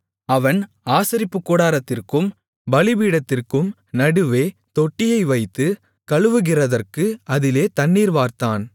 அவன் ஆசரிப்புக்கூடாரத்திற்கும் பலிபீடத்திற்கும் நடுவே தொட்டியை வைத்து கழுவுகிறதற்கு அதிலே தண்ணீர் வார்த்தான்